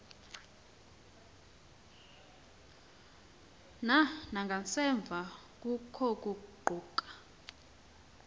na nangasemva kokuguquka